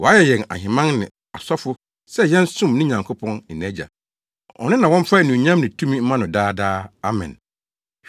Wayɛ yɛn ahemman ne asɔfo sɛ yɛnsom ne Nyankopɔn ne nʼAgya. Ɔno na wɔmfa anuonyam ne tumi mma no daa daa! Amen.